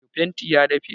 Fentin ya dafe